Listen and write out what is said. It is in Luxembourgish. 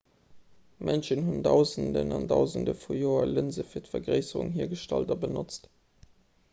mënschen hunn dausenden an dausende vu joer lënse fir d'vergréisserung hiergestallt a benotzt